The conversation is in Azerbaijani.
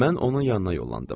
Mən onun yanına yollandım.